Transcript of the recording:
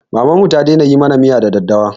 Mamanmu ta daina yi mana miya da daddawa